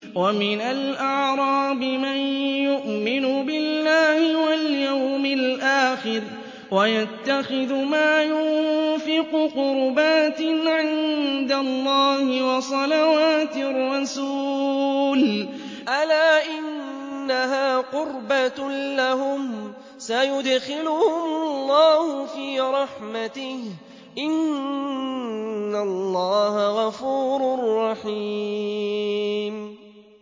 وَمِنَ الْأَعْرَابِ مَن يُؤْمِنُ بِاللَّهِ وَالْيَوْمِ الْآخِرِ وَيَتَّخِذُ مَا يُنفِقُ قُرُبَاتٍ عِندَ اللَّهِ وَصَلَوَاتِ الرَّسُولِ ۚ أَلَا إِنَّهَا قُرْبَةٌ لَّهُمْ ۚ سَيُدْخِلُهُمُ اللَّهُ فِي رَحْمَتِهِ ۗ إِنَّ اللَّهَ غَفُورٌ رَّحِيمٌ